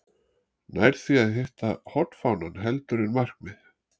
Nær því að hitta hornfánann heldur en markið.